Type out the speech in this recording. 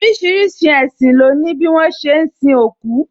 Orísìírísìí ẹṣin lo ni bi wọn ṣe ń sin òkú